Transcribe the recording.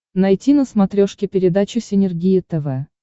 найти на смотрешке передачу синергия тв